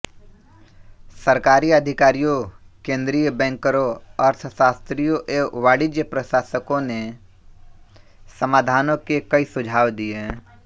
सरकारी अधिकारियों केंद्रीय बैंकरों अर्थशास्त्रियों एवं वाणिज्य प्रशासकों ने समाधानों के कई सुझाव दिए